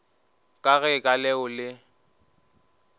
ka ge ka leo le